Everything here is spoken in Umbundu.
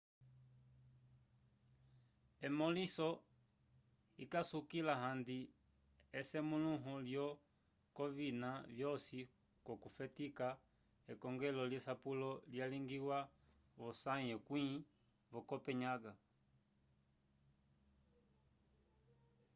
emõliso ikasukila handi esemũluho lyo coi k'ovina vyosi k'okufetika ekongelo lyesapelo lyalingiwa v'osãyi yekwĩ vo copenhaga